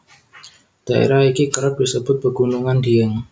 Daerah iki kerep disebut pegunungan Dieng